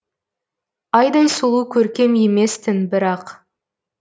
айдай сұлу көркем емес тін бірақ